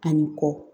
Ani kɔ